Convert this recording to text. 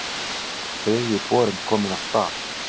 Þriðji borinn kominn af stað